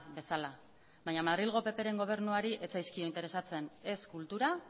bezala baina madrilgo ppren gobernuari ez zaizkio interesatzen ez kultura